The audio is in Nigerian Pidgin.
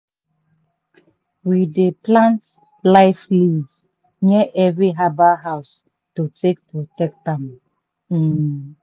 we dey plant life leaf near every herbal house to take protect am. um